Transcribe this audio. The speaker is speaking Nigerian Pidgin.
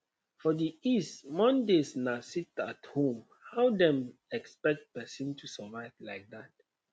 for the east mondays na sitathome how dem expect person to survive like dat